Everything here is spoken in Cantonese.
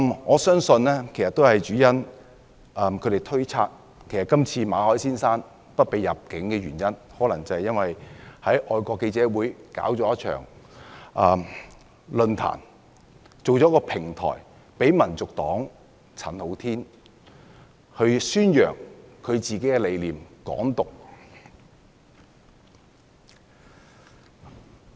我相信主要原因是，他們推測馬凱先生被拒入境的原因，可能是因為他在香港外國記者會舉辦了一場論壇，製造了一個平台讓香港民族黨的陳浩天宣揚"港獨"理念。